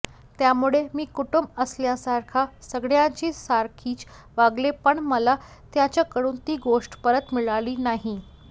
त्यामुळे मी कुटुंब असल्यासारखा सगळ्यांची सारखीच वागले पण मला त्यांच्याकडून ती गोष्ट परत मिळाली नाही